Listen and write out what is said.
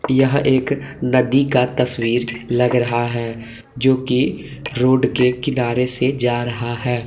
यह एक नदी का तस्वीर लग रहा है जो कि रोड के किनारे से जा रहा है।